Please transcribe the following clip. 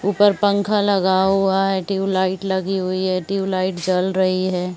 ऊपर पंखा लगा हुआ है ट्यूब-लाइट लगी हुई है ट्यूब-लाइट जल रही है।